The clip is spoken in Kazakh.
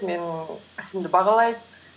менің ісімді бағалайды